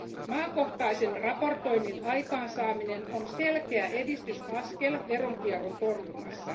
Maakohtaisen raportoinnin aikaansaaminen on selkeä edistysaskel veronkierron torjunnassa.